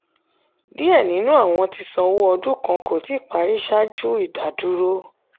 díẹ̀ nínú àwọn tí sanwó ọdún kàn kó tí parí ṣáájú ìdádúró.